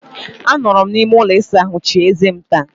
Anọrọ m n'ime ụlọ ịsa ahụ chie eze m taa.